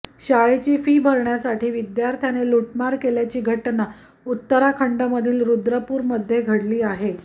शाळेची फी भरण्यासाठी विद्यार्थ्याने लूटमार केल्याची घटना उत्तराखंडमधील रुद्रपूरमध्ये घडली आहे